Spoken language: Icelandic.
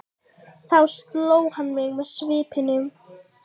Þá sló hann mig með svipunni.